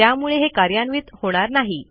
त्यामुळे हे कार्यान्वित होणार नाही